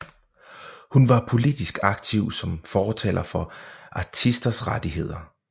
Hun var politisk aktiv som fortaler for artisters rettigheder